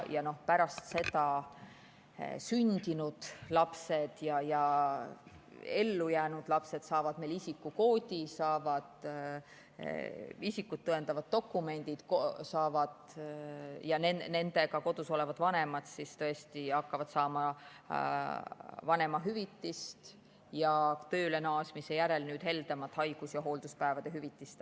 Pärast seda sündinud lapsed, ellujäänud lapsed saavad isikukoodi, saavad isikut tõendava dokumendi ja nendega kodus olevad vanemad hakkavad saama vanemahüvitist ning tööle naasmise järel heldemat haigus‑ ja hoolduspäevade hüvitist.